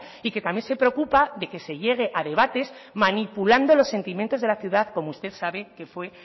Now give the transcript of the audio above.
y que también se preocupa de que se llegue a debates manipulando los sentimientos de la ciudad como usted sabe que fue